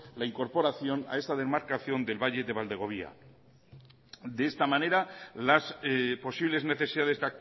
la incorporación a esta demarcación del valle del valdegovía de esta manera las posibles necesidades